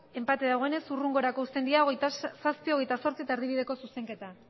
enpate dagoenez hurrengorako uzten dira hogeita zazpi hogeita zortzi eta erdibideko zuzenketa